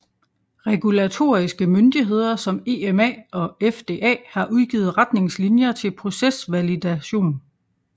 Regulatoriske myndigheder som EMA og FDA har udgivet retnigngslinjer til procesvalidation